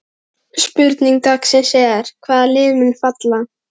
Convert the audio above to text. Spurning dagsins er: Hvaða lið munu falla?